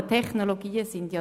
Das ist hier der Fall.